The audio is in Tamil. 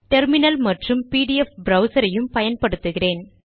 டெர்மினல் மற்றும் பிடிஎஃப் ப்ரவ்சர் யும் பயன்படுத்துகிறேன்